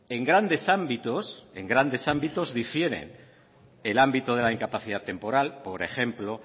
en grandes ámbitos difiere el ámbito de la incapacidad temporal por ejemplo